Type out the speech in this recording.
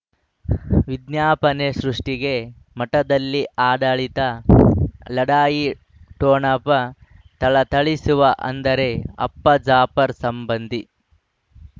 ವಿಜ್ಞಾಪನೆ ಸೃಷ್ಟಿಗೆ ಮಠದಲ್ಲಿ ಆಡಳಿತ ಲಢಾಯಿ ಠೊಣಪ ಥಳಥಳಿಸುವ ಅಂದರೆ ಅಪ್ಪ ಜಾಫರ್ ಸಂಬಂಧಿ